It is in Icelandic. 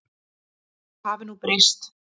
Það hafi nú breyst.